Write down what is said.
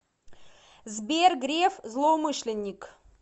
сбер греф злоумышленник